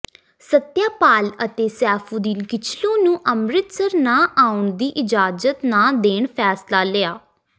ਸਤਿਆਪਾਲ ਅਤੇ ਸੈਫ਼ੂਦੀਨ ਕਿਚਲੂ ਨੂੰ ਅੰਮ੍ਰਿਤਸਰ ਨਾ ਆਉਣ ਦੀ ਇਜ਼ਾਜਤ ਨਾ ਦੇਣ ਫ਼ੈਸਲਾ ਲਿਆ